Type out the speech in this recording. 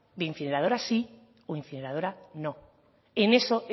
de incineradora sí o incineradora no en eso